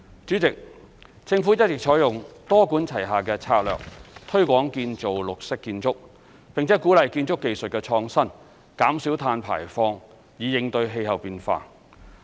主席，政府一直採用多管齊下的策略，推廣建造綠色建築，並鼓勵建築技術創新，減少碳排放，以應對氣候變化。